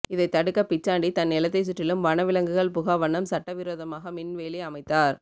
இதைத் தடுக்க பிச்சாண்டி தன் நிலத்தை சுற்றிலும் வன விலங்குகள் புகாவண்ணம் சட்டவிரோதமாக மின் வேலி அமைத்தார்